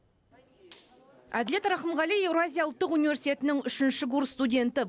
әділет рахымғали еуразия ұлттық университетінің үшінші курс студенті